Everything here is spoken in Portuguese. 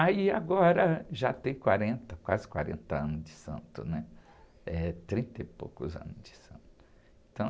Aí, agora, já tem quarenta, quase quarenta anos de santo, né? Eh, trinta e poucos anos de santo. Então...